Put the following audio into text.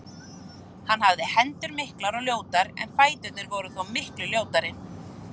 Hann hafði hendur miklar og ljótar en fæturnir voru þó miklu ljótari.